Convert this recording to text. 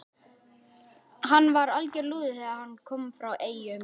Hann var alger lúði þegar hann kom frá Eyjum.